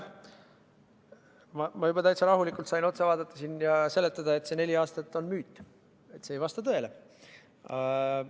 Ma sain siin juba täitsa rahulikult otsa vaadata ja seletada, et see neli aastat on müüt, see ei vasta tõele.